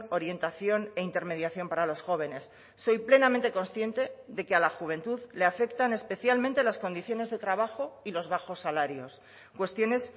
orientación e intermediación para los jóvenes soy plenamente consciente de que a la juventud le afectan especialmente las condiciones de trabajo y los bajos salarios cuestiones